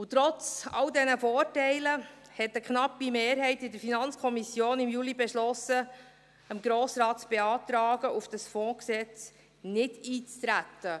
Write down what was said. Trotz all dieser Vorteile beschloss eine knappe Mehrheit in der FiKo im Juli, dem Grossen Rat zu beantragen, auf dieses Fondsgesetz einzutreten.